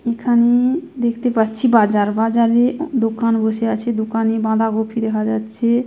এখানে দেখতে পাচ্ছি বাজার। বাজারে দোকান বসে আছে। দোকানে বাঁধাকপি দেখা যাচ্ছে।